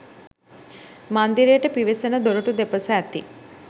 මන්දිරයට පිවිසෙන දොරටු දෙපස ඇති